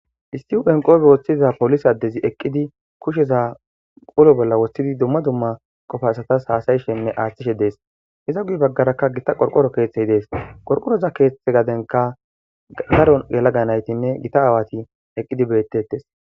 Istiu enqoobe woththiza polis addezi eqqidi kusheza qolo bolla woshsidi dumma dumma qofa asatas haasayi shenne aaththishe dees iza guy baggarakka gita qorqoro keeththey dees qorqoroza keeththe gadenka garo gelaga naytinne gita aawati eqqidi beettetes